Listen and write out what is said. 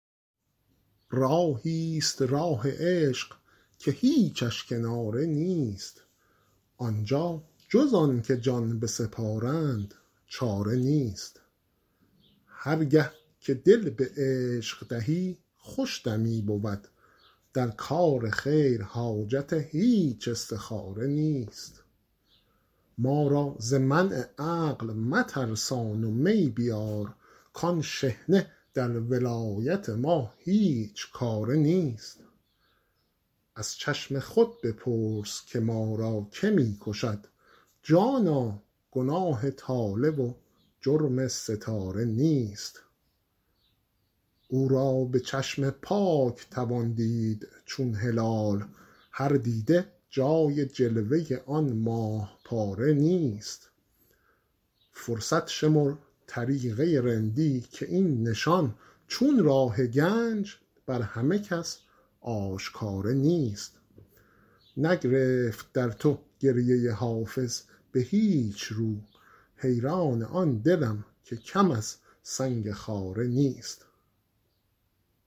راهی ست راه عشق که هیچش کناره نیست آن جا جز آن که جان بسپارند چاره نیست هر گه که دل به عشق دهی خوش دمی بود در کار خیر حاجت هیچ استخاره نیست ما را ز منع عقل مترسان و می بیار کآن شحنه در ولایت ما هیچ کاره نیست از چشم خود بپرس که ما را که می کشد جانا گناه طالع و جرم ستاره نیست او را به چشم پاک توان دید چون هلال هر دیده جای جلوه آن ماه پاره نیست فرصت شمر طریقه رندی که این نشان چون راه گنج بر همه کس آشکاره نیست نگرفت در تو گریه حافظ به هیچ رو حیران آن دلم که کم از سنگ خاره نیست